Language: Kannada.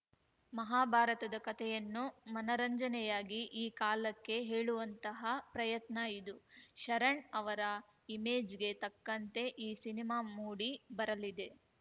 ಮಹಾಭಾರತದ ಕತೆಯನ್ನು ಮನರಂಜನೆಯಾಗಿ ಈ ಕಾಲಕ್ಕೆ ಹೇಳುವಂತಹ ಪ್ರಯತ್ನ ಇದು ಶರಣ್‌ ಅವರ ಇಮೇಜ್‌ಗೆ ತಕ್ಕಂತೆ ಈ ಸಿನಿಮಾ ಮೂಡಿ ಬರಲಿದೆ